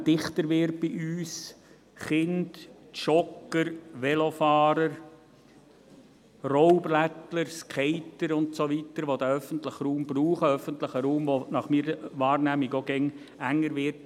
Er wird bei uns zunehmend dichter genutzt – durch Kinder, Jogger, Velofahrer, Rollbrettler, Skater und so weiter, die diesen öffentlichen Raum brauchen, öffentlicher Raum, der nach meiner Wahrnehmung auch immer enger wird.